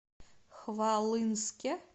хвалынске